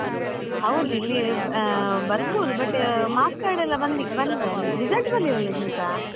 ಹೌದು ಇಲ್ಲಿ ಆ ಬರ್ಬೋದು but marks card ಎಲ್ಲ ಬಂದ್~ ಬಂದಿದಾ result ಬರ್ಲಿಲ್ಲ ಅಲ್ಲ ಇನ್ನೂಸಾ?